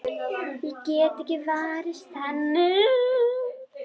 Ég get ekki varist henni.